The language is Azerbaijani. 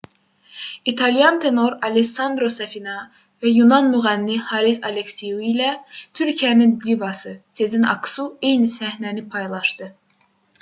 i̇talyan tenor allessandro safina və yunan müğənni haris aleksiu ilə türkiyənin divası sezen aksu eyni səhnəni paylaşdı